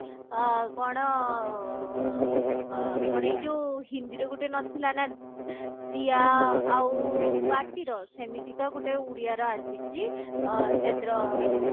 ଆ କଣ ଅ କଣ ଏଇ ଯଉ ହିନ୍ଦୀ ରେ ଗୋଟେ ନଥିଲା ନା दीया ଆଉ बाती ର ସେମିତିକା ଗୋଟେ ଉଡିଆ ର ଆସିଛି ଅ ସେଥିର